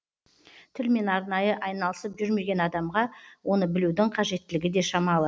тілмен арнайы айналысып жүрмеген адамға оны білудің қажеттілігі де шамалы